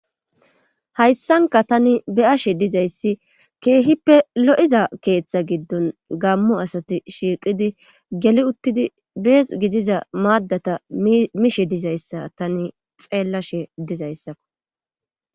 Hayssanka tani beyashe dizayssi keehippe lo'iza keeththa giddon gammu asati shiiqidi geli uttidi bees gidiza maaddata mishe dizayssa tani xeellashe dizayssakko